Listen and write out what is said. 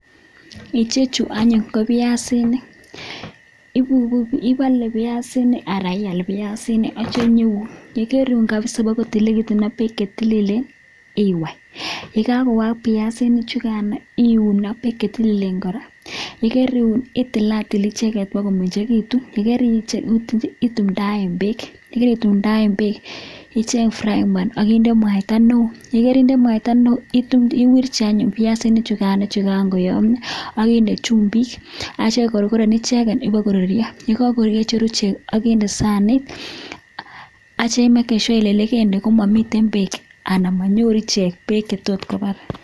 Ichechu anyun ko biasinik ibale biasinik anan iyal biasinik arikayeun ak bek chetililen iwai ak yegaiwai biasinik chukan iun ak bek chetililen kora arikariun itilatil kora komengekitun ak yekaritil komengekitun itumdaen bek ayekaritumdaen bek ichen frying pan inde mwaita neon iwirchi anyun biasinik chukan chekakoyamio akinde chumbik akikorgoren icheken bakorurio icheru ichek akinde sanit akimeken sure komamiten bek anan manyoru bek chetotkoba.